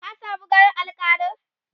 ka samu ganin alkalin?